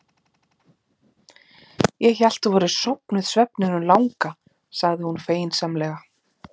Ég hélt að þú værir sofnuð svefninum langa, sagði hún feginsamlega.